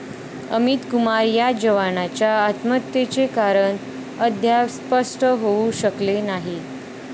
अमित कुमार या जवानाच्या आत्महत्येचे कारण अद्याप स्पष्ट होऊ शकलेले नाही.